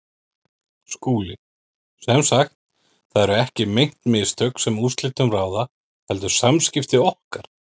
SKÚLI: Sem sagt: það eru ekki meint mistök, sem úrslitum ráða, heldur samskipti okkar?